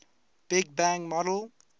big bang model